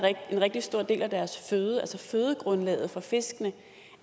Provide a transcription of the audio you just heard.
en rigtig stor del af deres føde altså fødegrundlaget for fiskene